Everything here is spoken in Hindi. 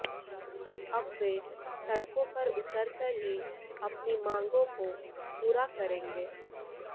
अब वे सड़कों पर उतर कर ही अपनी मांगों को पूरा करेंगे